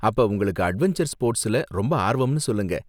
அப்ப, உங்களுக்கு அட்வென்ச்சர் ஸ்போர்ட்ஸ்ல ரொம்ப ஆர்வம்னு சொல்லுங்க!